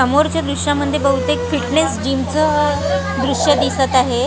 समोरच्या दृश्यामध्ये बहुतेक फिटनेस जिमचं दृश्य दिसत आहे.